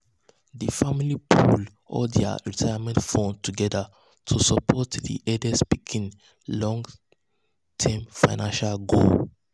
di family pool all dia retirement funds together to support dia eldest pikin long-term eldest pikin long-term financial goals.